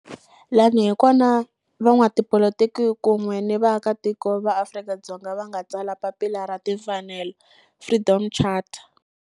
Laha hi kona la van'watipolitiki kun'we ni vaaka tiko va Afrika-Dzonga va nga tsala papila ra timfanelo, Freedom Charter.